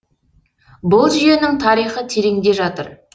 бұл жүйенің тарихы тереңде жатыр